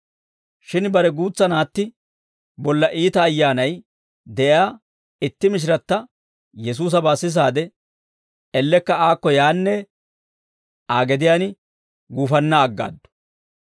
Shin bare guutsa naatti bolla iita ayyaanay de'iyaa itti mishiratta Yesuusabaa sisaade, ellekka aakko yaanne Aa gediyaan guufanna aggaaddu.